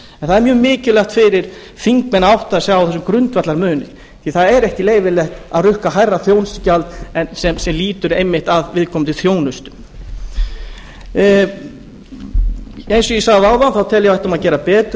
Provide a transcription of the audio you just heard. það er mjög mikilvægt fyrir þingmenn að átta sig á þessum grundvallarmun því að það er ekki leyfilegt að rukka hærra þjónustugjald en sem lýtur einmitt að viðkomandi þjónustu eins og ég sagði áðan tel ég að við ættum að gera betur